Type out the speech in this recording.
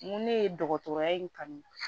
N ko ne ye dɔgɔtɔrɔya in kanu